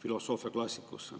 filosoofia klassikasse.